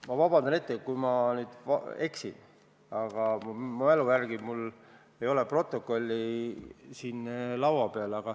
Ma vabandan ette, kui ma eksin, aga ma mälu järgi räägin, mul ei ole protokolli siin laua peal.